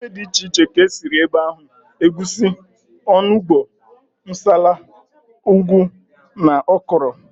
Ofe dị iche iche ka e siri ebe ahụ, egusi, onugbu, nsala, ụgụ na ọkwụrụ